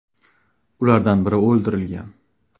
Ulardan biri o‘ldirilgan.